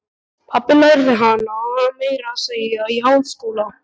Pabbi lærði hana meira að segja í háskóla.